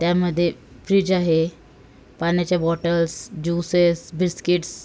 त्यामध्ये फ्रीज आहे पाण्याच्या बॉटलस ज्यूसेस बिस्किट्स --